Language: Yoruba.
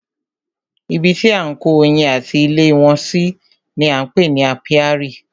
Ibi tí à ń kó oyin ati ilé wọn si ni á ń pè ní ápíárì.